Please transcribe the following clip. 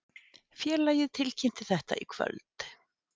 Félagið tilkynnti þetta í kvöld